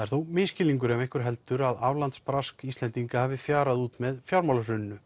er þó misskilningur ef einhver heldur að aflandsbrask Íslendinga hafi fjarað út með fjármálahruninu